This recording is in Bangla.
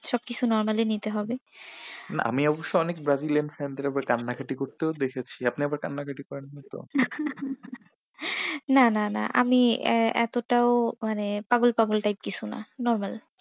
সবকিছু normal ই নিতে হবে। আমি অবশ্য অনেক ব্রাজিলয়ান fan দের কান্না কাটি করতেও দেখেছি। আপনি এত কান্না কাটি করেননি তো না না না না আমি এতটাও মানে পাগল পাগল type কিছু না normal